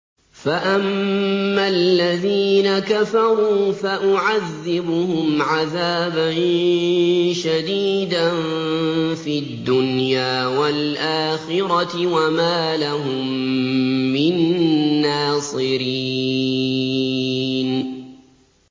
فَأَمَّا الَّذِينَ كَفَرُوا فَأُعَذِّبُهُمْ عَذَابًا شَدِيدًا فِي الدُّنْيَا وَالْآخِرَةِ وَمَا لَهُم مِّن نَّاصِرِينَ